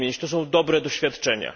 To są dobre doświadczenia.